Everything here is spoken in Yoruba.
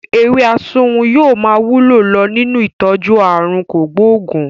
Ewé asunwun yóò máa wúlò lọ nínú ìtọ́jú àrùn kògbóògùn